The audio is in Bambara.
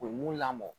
U ye mun lamɔ